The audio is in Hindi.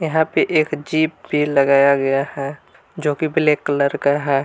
यहां पे एक जीप भी लगाया गया है जो कि ब्लैक कलर का है।